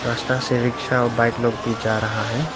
रस्ता से रिक्शा और बाइक लोग भी जा रहा है।